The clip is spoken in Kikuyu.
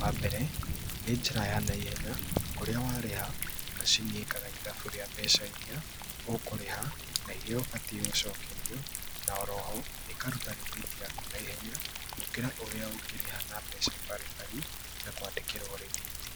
Wambere, nĩ njĩra ya naihenya kũrĩa warĩha, macini ĩkaga ithabu rĩa mbeca iria ũkũrĩha na iria ũbatiĩ gũcokerio na oroho ĩkaruta rĩthiti yaku naihenya gũkĩra ũrĩa ũngĩrĩha na mbeca baribari na kwandĩkĩrwo rĩthiti.